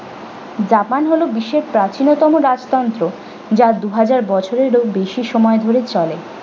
japan হল বিশ্বের প্রাচীনতম রাজতন্ত্র যা দু হাজার বছরেরও বেশি সময় ধরে চলে।